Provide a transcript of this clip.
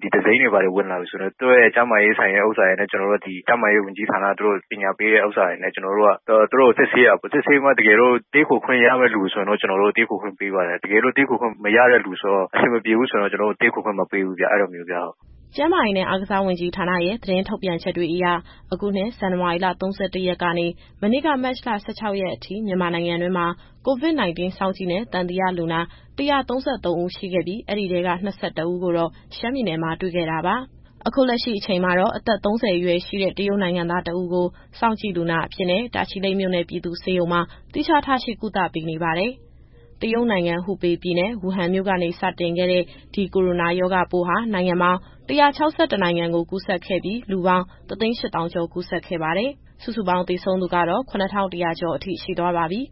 ဒီသူစိမ်းတွေဝင်လာပြီဆိုရင် သူတို့ရဲ့ကျန်းမာရေး အခြေအနေကို ဒီကျန်းမာရေးဝန်ကြီးဌာနက ပညာပေးထားတဲ့အတိုင်း သူတို့ကိုစစ်ဆေးတာပေါ့လေ။ စစ်ဆေးပြီးတော့မှ တကယ်လို့ တည်းခိုခွင့်ရမယ့်သူဆိုရင် ကျနော်တို့က တည်းခိုခွင့်ပေးပါတယ်။ တကယ်လို့ တည်းခိုခွင့်မရတဲ့ သူဆိုရင်တော့ အဆင်မပြေဘူးဆိုရင် ကျနော်တို့ တည်းခိုခွင့်မပေးဘူးဗျ။” ကျန်းမာရေးနဲ့ အားကစားဝန်ကြီးဌာနရဲ့ သတင်းထုတ်ပြန်ချက်တွေအရ အခုနှစ် ဇန်နဝါရီ ၃၁ ရက်ကနေ မနေ့က မတ်လ ၁၆ ရက်အထိ မြန်မာနိုင်ငံတွင်းမှာ COVID-19 စောင့်ကြည့်နဲ့ သံသယလူနာ ၁၃၃ ဦးရှိခဲ့ပြီး အဲဒီထဲက ၂၁ ဦးကိုတော့ ရှမ်းပြည်နယ်မှာ တွေ့ခဲ့တာပါ။ အခုလက်ရှိအချိန်မှာတော့ အသက် ၃၀ အရွယ်ရှိတဲ့ တရုတ်နိုင်ငံသား တဦးကို စောင့်ကြည့်လူနာအဖြစ်နဲ့ တာချီလိတ်ပြည်သူ့ဆေးရုံမှာ သီးခြားထားရှိ ကုသပေးနေပါတယ်။ တရုတ်နိုင်ငံ၊ ဟူပေပြည်နယ်၊ ဝူဟန်မြို့နေ စတင်ခဲ့တဲ့ ဒီကိုရိုနာရောဂါပိုးဟာ နိုင်ငံပေါင်း ၁၆၁ နိုင်ငံကိုကူးစက်ခဲ့ပြီး၊ လူပေါင်း ၁၈၀,၀၀၀ ကျော် ကူးစက်ခဲ့ပါတယ်။ စုစုပေါင်း သေဆုံးသူကတော့ ၇,၁၀၀ ကျော်အထိ ရှိသွားပါပြီ။